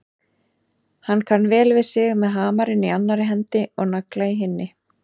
Hann kann vel við sig með hamarinn í annarri hendi og nagla í hinni.